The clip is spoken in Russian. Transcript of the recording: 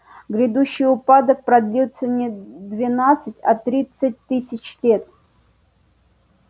грядущий упадок продлится не двенадцать а тринадцать тысяч лет